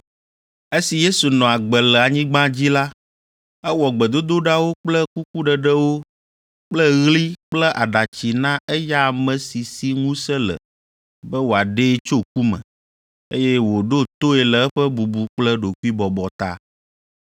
Esi Yesu nɔ agbe le anyigba dzi la, ewɔ gbedodoɖawo kple kukuɖeɖewo kple ɣli kple aɖatsi na eya ame si si ŋusẽ le be wòaɖee tso ku me, eye wòɖo toe le eƒe bubu kple ɖokuibɔbɔ ta.